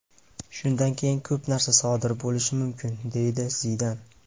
Shundan keyin ko‘p narsa sodir bo‘lishi mumkin”, deydi Zidan.